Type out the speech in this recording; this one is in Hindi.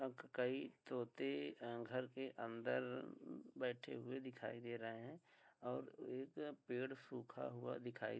कई तोते घर के अंदर बैठे हुऐ दिखाई दे रहे हैं और एक पेड़ सूखा हुआ दिखाई --